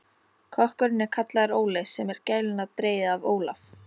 Kokkurinn er kallaður Óli, sem er gælunafn dregið af Ólaf